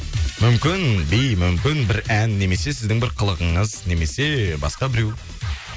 мүмкін би мүмкін бір ән немесе сіздің бір қылығыңыз немесе басқа біреу